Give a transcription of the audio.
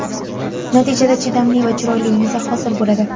Natijada, chidamli va chiroyli yuza hosil bo‘ladi.